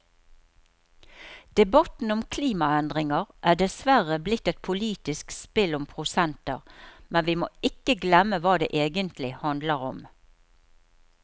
Debatten om klimaendringer er dessverre blitt et politisk spill om prosenter, men vi må ikke glemme hva det egentlig handler om.